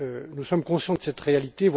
Nous sommes conscients de cette réalité.